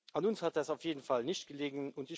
An uns hat das auf jeden Fall nicht gelegen.